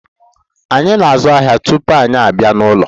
Anyị na-azụ ahịa tupu anyị abịa n'ụlọ.